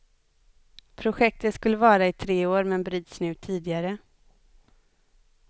Projektet skulle vara i tre år men bryts nu tidigare.